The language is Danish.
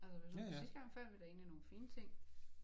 Altså hvis man sidste gang fandt vi da nogle fine ting